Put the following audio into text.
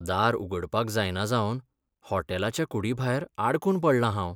दार उगडपाक जायना जावन हॉटेलाच्या कुडीभायर आडकून पडलां हांव.